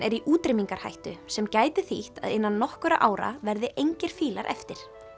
er í útrýmingarhættu sem gæti þýtt að innan nokkurra ára verði engir fílar eftir